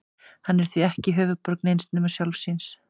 Hann er því ekki höfuðborg neins nema sjálfs sín.